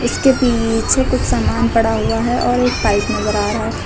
इसके पीछे कुछ सामान पड़ा हुआ है और एक पाइप नजर आ रहा है।